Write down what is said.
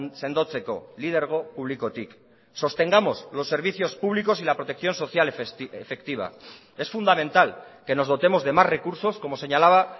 sendotzeko lidergo publikotik sostengamos los servicios públicos y la protección social efectiva es fundamental que nos dotemos de más recursos como señalaba